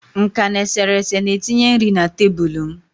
nka na eserese na-etinye nri na tebụl m